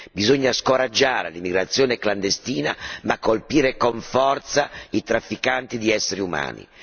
Bisogna scoraggiare l'immigrazione clandestina ma colpire con forza i trafficanti di esseri umani.